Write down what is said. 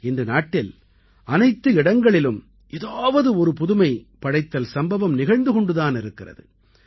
இன்று நாட்டில் அனைத்து இடங்களிலும் ஏதாவது ஒரு புதுமை படைத்தல் சம்பவம் நிகழ்ந்து கொண்டு தான் இருக்கிறது